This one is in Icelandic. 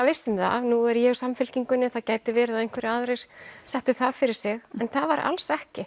viss um það nú er ég úr Samfylkingunni það gæti verið að einhverjir aðrir settu það fyrir sig en það var alls ekki